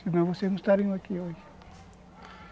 Senão vocês não estariam aqui hoje.